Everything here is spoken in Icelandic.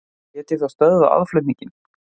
Lét ég þá stöðva aðflutninginn.